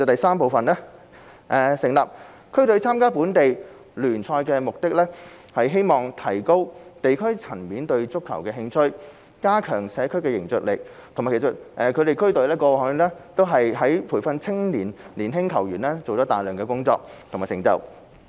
三成立區隊參加本地聯賽的目的，是希望提高地區層面對足球的興趣及加強社區的凝聚力，其實區隊過去在培訓青年球員方面做了大量工作，也有很大成就。